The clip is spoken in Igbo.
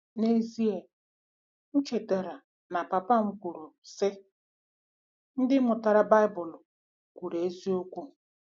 N'ezie, m chetara na papa m kwuru, sị, “ Ndị Mmụta Baịbụl kwuru eziokwu!